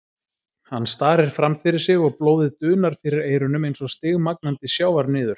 Hann starir framfyrir sig og blóðið dunar fyrir eyrunum eins og stigmagnandi sjávarniður.